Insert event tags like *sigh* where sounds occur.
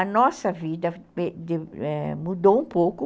A nossa vida *unintelligible* mudou um pouco.